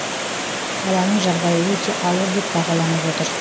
баланың жағдайы өте ауыр деп бағаланып отыр